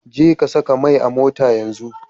Jeka saka mai a motata yanzu.